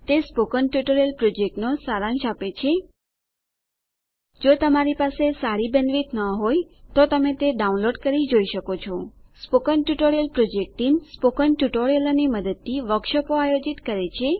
તે spoken tutorial પ્રોજેક્ટનો સારાંશ આપે છે જો તમારી પાસે સારી બેન્ડવિડ્થ ન હોય તો તમે તે ડાઉનલોડ કરી જોઈ શકો છો spoken tutorial project team spoken ટ્યુટોરીયલોની મદદથી વર્કશોપો આયોજિત કરે છે